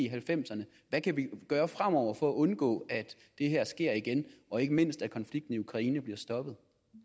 halvfemserne hvad kan vi gøre fremover for at undgå at det her sker igen og ikke mindst at konflikten i ukraine bliver stoppet